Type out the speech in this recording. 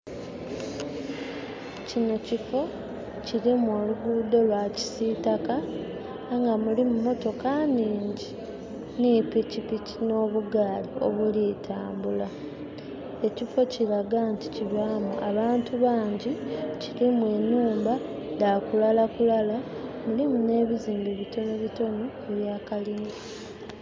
Kino kifo kirimu oluguudo lwa kisitaka aye nga mulimu emotoka ningi ne pikipiki no bugaali obuli tambula. Ekifo kiraga nti kibaamu abantu bangi. Kirimu enhumba dha kulala kulala. Mulimu ne bizimbe bitono bitono ebya kalina